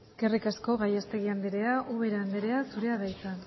eskerrik asko gallastegui andrea ubera andrea zurea da hitza